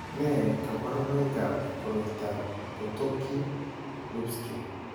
Nee kabarunoikab koroitoab Potocki Lupski?